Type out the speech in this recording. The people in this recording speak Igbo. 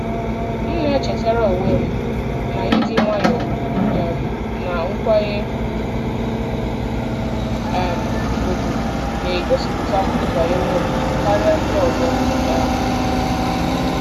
M na-echetara onwe m na ịdị nwayọọ um na nkwanye um ùgwù na-egosipụtakwu banyere m karịa ndị ọzọ. um